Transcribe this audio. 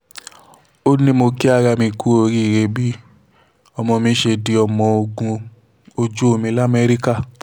ó ní mo kí ara mi kú oríire lórí bí ọmọ mi ṣe di ọmọ ogun ojú omi lamẹ́ríkà